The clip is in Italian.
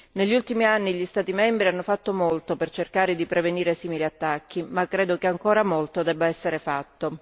Negli ultimi anni gli Stati membri hanno fatto molto per cercare di prevenire simili attacchi, ma credo che ancora molto debba essere fatto.